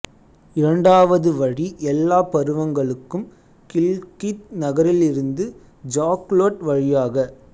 இரண்டாவது வழி எல்லா பருவங்களுக்கும் கில்கித் நகரத்திலிருந்து ஜாக்லோட் வழியாக